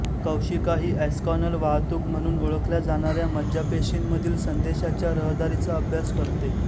कौशिका ही एस्कॉनल वाहतूक म्हणून ओळखल्या जाणाऱ्या मज्जापेशींमधील संदेशांच्या रहदारीचा अभ्यास करते